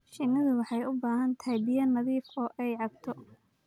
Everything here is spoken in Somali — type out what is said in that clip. Shinnidu waxay u baahan tahay biyo nadiif ah oo ay cabto.